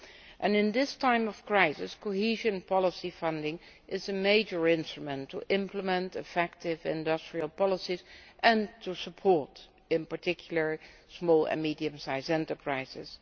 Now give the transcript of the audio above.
Also at this time of crisis, cohesion policy funding is a major instrument to implement effective industrial policies and to support, in particular, small and medium sized enterprises.